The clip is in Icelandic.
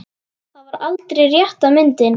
Það var aldrei rétta myndin.